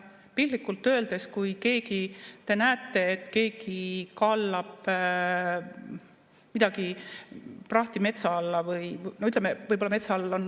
Piltlikult öeldes, kui te näete, et keegi kallab prahti metsa alla.